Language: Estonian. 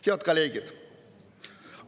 Head kolleegid!